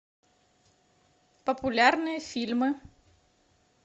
популярные фильмы